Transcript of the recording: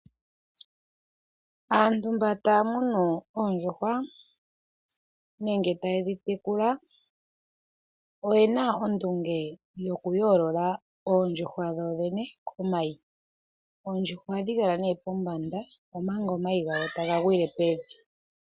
Aantu mba taa munu oondjuhwa nenge taye dhi tekula, oyena ondunge yokuyoolola oondjuhwa dho dhene komayi. Oondjuhwa ohadhi kala nee pombanda omanga omayi gawo taga gwile pevi.